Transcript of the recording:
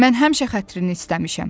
Mən həmişə xətrini istəmişəm.